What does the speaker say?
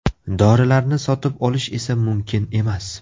Dorilarni sotib olish esa mumkin emas!